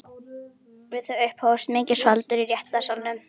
Við þau upphófst mikið skvaldur í réttarsalnum.